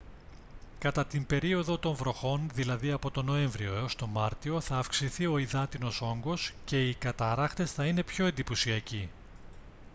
κατά την περίοδο των βροχών δηλαδή από τον νοέμβριο ως τον μάρτιο θα αυξηθεί ο υδάτινος όγκος και οι καταρράκτες θα είναι πιο εντυπωσιακοί